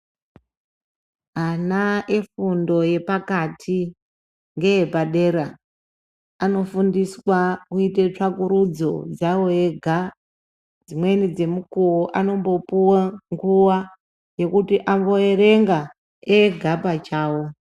Ana efundo yepakati ngee padera anofundiswa kuite tsvakurudzo dzavo ega dzimweni dzemukuwo anombopuwa nguwa yekuti ambierenga ega pachavo.